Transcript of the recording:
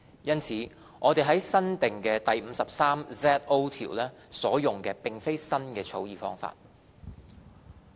因此，我們在新訂第 53ZO 條所用的並非新的草擬方法。